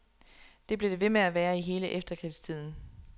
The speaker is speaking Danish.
Det blev det ved med at være i hele efterkrigstiden.